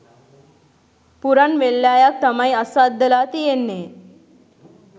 පුරන් වෙල්යායක් තමයි අස්වද්දලා තියෙන්නේ